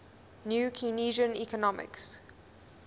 new keynesian economics